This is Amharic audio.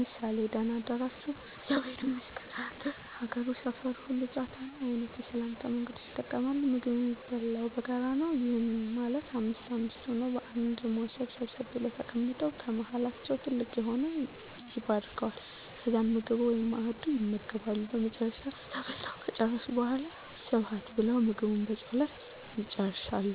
ምሳሌ:- ደና አደራችሁ? እግዚአብሔር ይመስገን ደና አደርክ? ሀገሩ፣ ሰፋሩ ሁሉ ጫታ ነው? አይነት የሰላምታ መንገዶችን ይጠቀማሉ። የምግብ የሚበላው በጋራ ነው። ይህም ማለት አምስት አምስት ሆነው በአንድ ሞሰብ ሰብሰብ ብለው ተቀምጠው ከመሀላቸው ትልቅ የሆነው ይባርከዋል። ከዛም ምግቡን(መአዱን) ይመገባሉ። በመጨረሻም በልተው ከጨረሱ በሗላ ስብሀት ብለው ምግቡን በፀሎት ይጨርሳሉ።